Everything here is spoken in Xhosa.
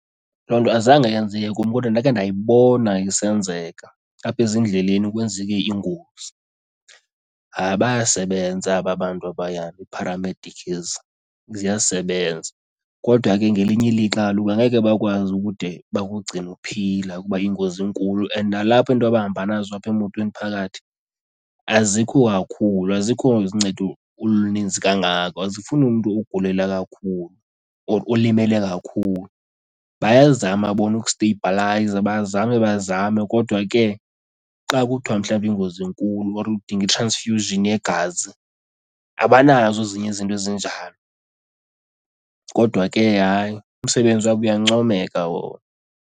Loo nto azange yenziwe kum kodwa ndakhe ndayibona isenzeka apha ezindleleni kwenzeke ingozi. Hayi. bayasebenza aba bantu abaya, iipharamedikhi ezi, ziyasebenza. Kodwa ke ngelinye ilixa kaloku angeke bakwazi ukude bakugcine uphila kuba iingozi inkulu and nalapho into abahamba nazo apha emotweni phakathi azikho kakhulu, azikho zincedo oluninzi kakhulu kangako, azifuni mntu ugulela kakhulu or olimele kakhulu. Bayazama bona ukusteyibhalayiza, bazame bazame kodwa ke xa kuthiwa mhlambi iingozi inkulu or udinga i-transfusion yegazi abanazo ezinye izinto ezinjalo. Kodwa ke hayi, umsebenzi wabo uyancomeka wona.